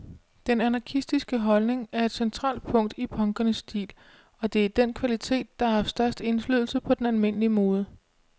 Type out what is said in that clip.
Den anarkistiske holdning er et centralt punkt i punkernes stil, og det er den kvalitet, der har haft størst indflydelse på den almindelige mode.